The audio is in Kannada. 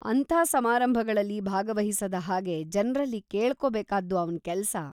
ಅಂಥ ಸಮಾರಂಭಗಳಲ್ಲಿ ಭಾಗವಹಿಸದ ಹಾಗೆ ಜನ್ರಲ್ಲಿ ಕೇಳ್ಕೋಬೇಕಾದ್ದು ಅವ್ನ ಕೆಲ್ಸ.